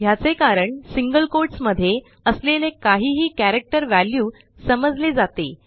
ह्याचे कारणसिंगल कोट्स मध्ये असलेले काहीही कॅरेक्टर वॅल्यू समजले जाते